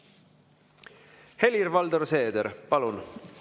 Helir-Valdor Seeder, palun!